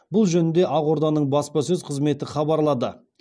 бұл жөнінде ақорданың баспасөз қызметі хабарлады